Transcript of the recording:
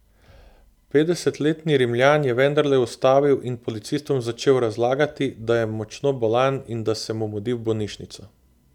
Petdesetletni Rimljan je vendarle ustavil in policistom začel razlagati, da je močno bolan in da se mu mudi v bolnišnico.